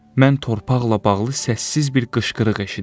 Mən torpaqla bağlı səssiz bir qışqırıq eşidirdim.